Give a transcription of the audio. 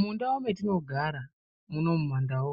Mundau metinogara munomu mumandau